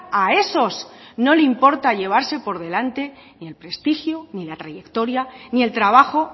a esos no le importa llevarse por delante ni el prestigio ni la trayectoria ni el trabajo